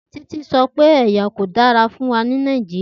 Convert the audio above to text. Titi sọ pe ẹya ko dara fun wa ni Nàìjíríà.